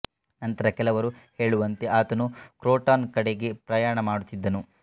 ನಂತರ ಕೆಲವರು ಹೇಳುವಂತೆ ಆತನು ಕ್ರೋಟಾನ್ ಕಡೆಗೆ ಪ್ರಯಾಣ ಮಾಡುತ್ತಿದ್ದನು